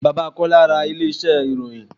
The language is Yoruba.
Bàbá Kọ́lá ra ilé iṣẹ́ ìròyìn.